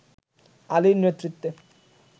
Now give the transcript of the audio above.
আলি’র নেতৃত্বে